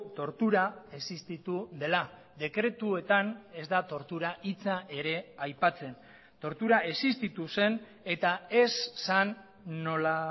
tortura existitu dela dekretuetan ez da tortura hitza ere aipatzen tortura existitu zen eta ez zen nola